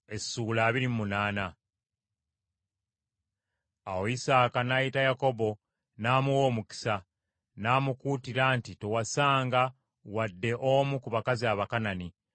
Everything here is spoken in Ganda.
Awo Isaaka n’ayita Yakobo n’amuwa omukisa, n’amukuutira nti, “Towasanga, wadde omu ku bakazi Abakanani.